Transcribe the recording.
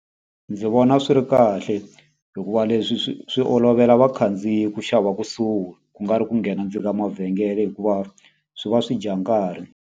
Ndzi vona swi ri kahle hikuva leswi swi swi olovela vakhandziyi ku xava kusuhi, kungari ku nghena ndzeni nga mavhengele hikuva swi va swi dya nkarhi.